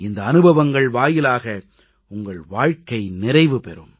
இந்த அனுபவங்கள் வாயிலாக உங்கள் வாழ்க்கை நிறைவு பெறும்